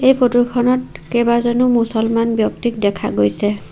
এই ফটো খনত কেইবাজনো মুছলমান ব্যক্তিক দেখা গৈছে।